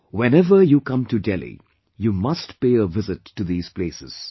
Whenever you come to Delhi, you must pay a visit to these places